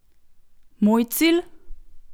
Moj cilj?